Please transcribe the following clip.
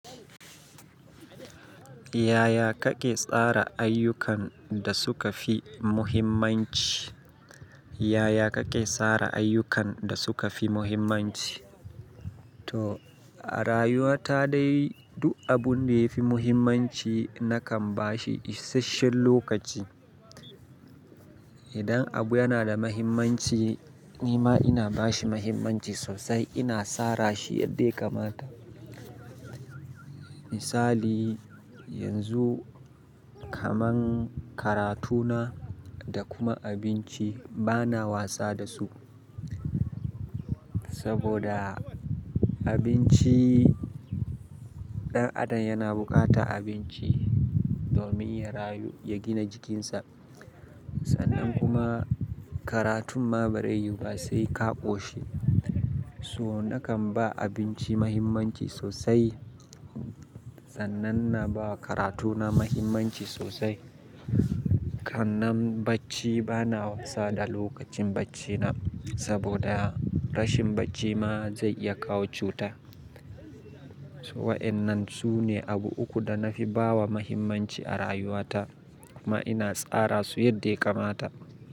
Yaya kake tsara ayyukan da suka fi muhimmanci? Yaya kake tsara ayyukan da suka fi muhimmanci? To a rayuwa ta dai duk abun da ya fi muhimmanci nakan ba shi isasshen lokaci. Idan abu yana da muhimmanci, ni ma ina ba shi muhimmanci sosai, ina tsara shi yadda ya kamata. Misali, yanzu kaman karatu na da kuma abinci bana wasa da su. Saboda abinci, ɗan adam yana bukata abinci domin ya rayu, ya gina jikinsa. Sannan kuma karatun ma bari yuba sai ka ɓoshi. So nakan ba abinci mahimmanci sosai. Sannan na ba karatuna mahimmanci sosai. Kannan bacci ba na wasa da lokacin bacina, saboda rashin bacci ma zai ya kawo cuta. To waƴannan su ne abu uku da na fi ba wa mahimmanci a rayuwata kuma ina tsara su yadda ya kamata.